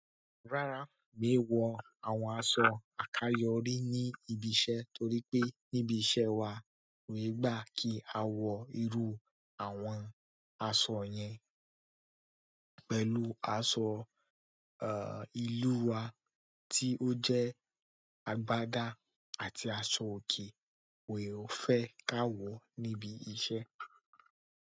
Rárá, mi ò wọ àwọn aṣọ àkáyọrí ní ibi iṣẹ́ torí pé ní ibi iṣẹ́ wà wọ̀nyí gbà kí a wọ irú àwọn aṣọ yẹn. Pẹ̀lú aṣọ ìlú wa tí ó jẹ́ agbádá àti aṣọ òkè won yi fẹ́ ká wọ̀ níbi iṣẹ́.